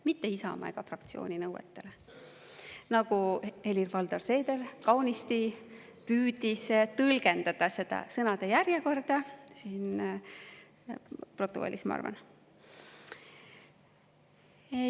Mitte Isamaa fraktsiooni nõuetele, nagu Helir-Valdor Seeder kaunisti püüdis tõlgendada seda sõnade järjekorda siin protokollis.